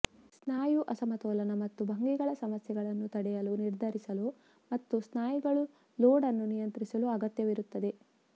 ಸ್ನಾಯು ಅಸಮತೋಲನ ಮತ್ತು ಭಂಗಿಗಳ ಸಮಸ್ಯೆಗಳನ್ನು ತಡೆಯಲು ನಿರ್ಧರಿಸಲು ಮತ್ತು ಸ್ನಾಯುಗಳು ಲೋಡ್ ಅನ್ನು ನಿಯಂತ್ರಿಸಲು ಅಗತ್ಯವಿರುತ್ತದೆ